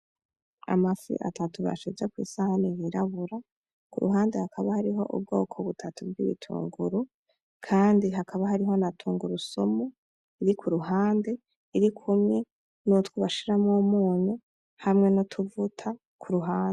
Amafi atatu bashize kw'isahani yirabura, ku ruhande hakaba hariho ubwoko butatu bw'ibitunguru, kandi hakaba hariho na tunguru sumu iri ku ruhande, irikumwe n'utwo bashiramwo umunyu hamwe n'utuvuta ku ruhande.